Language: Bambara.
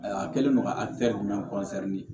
A kɛlen don ka jumɛn